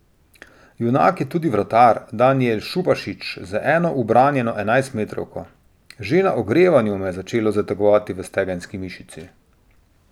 Junak je tudi vratar Danijel Šubašić z eno ubranjeno enajstmetrovko: "Že na ogrevanju me je začelo zategovati v stegenski mišici.